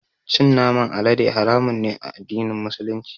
Cin naman alade haramun ne a addinin Musulunci.